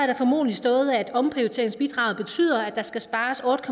der formodentlig stået at omprioriteringsbidraget betyder at der skal spares otte